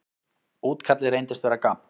Útkallið reyndist vera gabb.